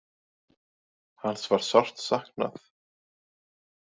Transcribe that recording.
Hans var sárt saknað.